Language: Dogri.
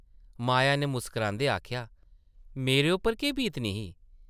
माया नै मुस्कारांदे आखेआ, मेरे उप्पर केह् बीतनी ही ?